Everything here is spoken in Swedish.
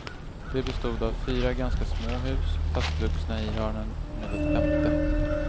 Det bestod av fyra ganska små hus, fastvuxna i hörnen med ett femte.